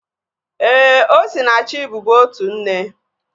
Éè, Osinachi bubu otu nne